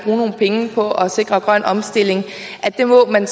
nogle penge på at sikre grøn omstilling så må man